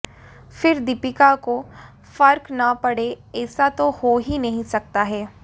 फिर दीपिका को फर्क न पड़े ऐसा तो हो ही नहीं सकता है